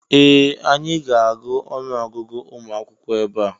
Ee! Anyị ga-agụ ọnụọgụgụ ụmụ akwụkwọ ebe a.